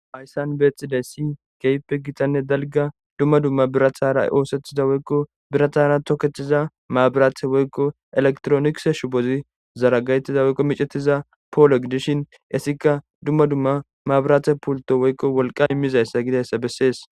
Hayssan bexidaysi keype gitanne dalga dumma dumma birathara oosethida woykko birathara toketiza maabiraathe woykko elektronikse shubozi zaragaytiza woykko micetiza poolo gidishin essika dumma dumma maabiraathe pulto woykko wolqa immizayssa gidayssa bessees